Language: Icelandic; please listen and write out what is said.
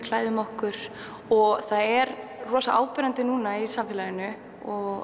klæðum okkur og það er rosa áberandi núna í samfélaginu